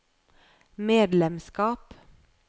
medlemskap